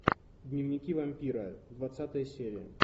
дневники вампира двадцатая серия